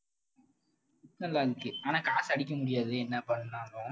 ஆஹ் நல்லா இருந்துச்சு. ஆனா காசை அடிக்க முடியாது. என்ன பண்ணாலும்.